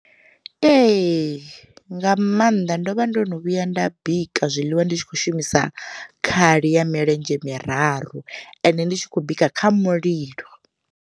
Ee, nga maanḓa ndo vha ndo no vhuya nda bika zwiḽiwa ndi tshi kho shumisa khali ya milenzhe miraru ende ndi tshi khou bika kha mulilo.